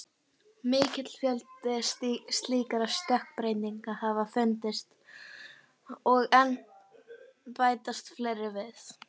Mikill fjöldi slíkra stökkbreytinga hafa fundist og enn bætast fleiri við.